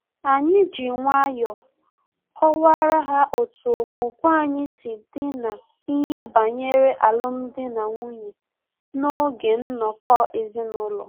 Anyị ji nwayọọ kọwara ha otu okwukwe anyị si dị na-ihe banyere alum dị na nwunye na-oge nnọkọ ezinaụlọ